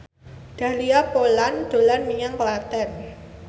Dahlia Poland dolan menyang Klaten